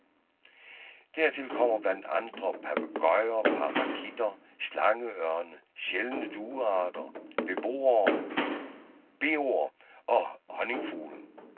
Dertil kommer blandt andre papegøjer, parakitter, slangeørne, sjældne duearter, beoer og honningfugle.